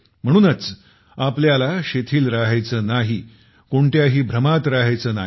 म्हणूनच आपल्याला शिथिल राहायचं नाही कोणत्याही भ्रमात राहायचं नाही